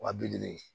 Wa bi duuru